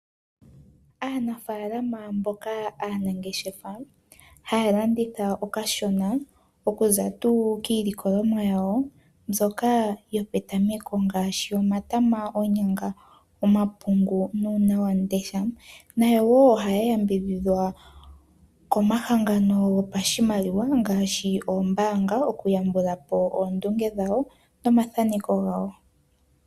Aanafaalama mboka haya ngeshefa haya landitha okashona okuza tuu kiilikolomwa yawo mbyoka yopetameko ngaashi tuu omatama, oonyanga, omapungu nuunawandesha nayo wo ohaya yambidhidhwa komahangano ngaashi ombaanga okuyambula po okndunge dhawo nomathaneko gawo.